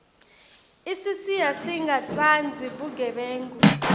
isisiya singatsandzi bugebengu